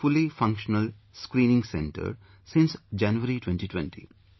It has a fully functional screening centre since Januray 2020